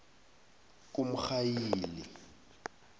kumrhayili